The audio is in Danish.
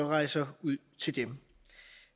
rejse ud til dem